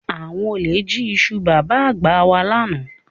Àwọn olè jí iṣu Bàbá-àgbà wà lánàá